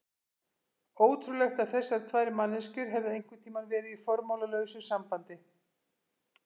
Ótrúlegt að þessar tvær manneskjur hefðu einhvern tíma verið í formálalausu sambandi.